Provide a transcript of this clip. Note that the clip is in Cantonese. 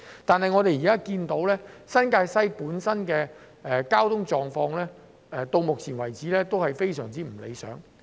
但是，新界西的交通狀況到目前為止仍然非常不理想。